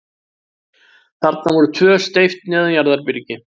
Þarna voru tvö steypt neðanjarðarbyrgi.